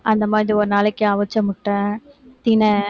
அந்த மாதிரி ஒரு நாளைக்கு அவிச்ச முட்டை திணை